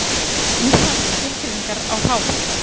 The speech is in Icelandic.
Til eru ýmsar skilgreiningar á hráfæði.